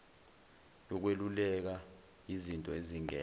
yokweluleka yizinto ezingena